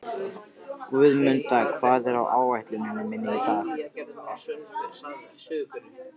Guðmunda, hvað er á áætluninni minni í dag?